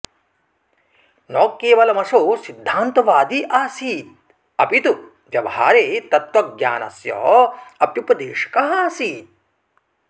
न केवलमसौ सिद्धान्तवादी आसीदपितु व्यवहारे तत्त्वज्ञानस्य अप्युपदेशकः आसीत्